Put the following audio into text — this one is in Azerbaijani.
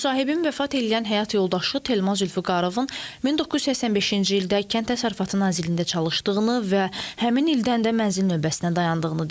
Müsahibim vəfat eləyən həyat yoldaşı Telman Zülfüqarovun 1985-ci ildə Kənd Təsərrüfatı Nazirliyində çalıştığını və həmin ildən də mənzil növbəsində dayandığını deyir.